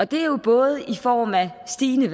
det er jo både i form af stigende